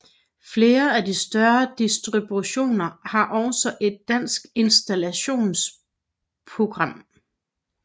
Flere af de større distributioner har også et dansk installeringsprogram